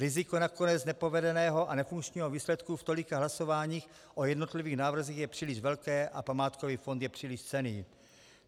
Riziko nakonec nepovedeného a nefunkčního výsledku v tolika hlasováních o jednotlivých návrzích je příliš velké a památkový fond je příliš cenný.